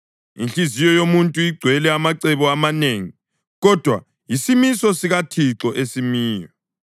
Inhliziyo yomuntu igcwele amacebo amanengi, kodwa yisimiso sikaThixo esimayo.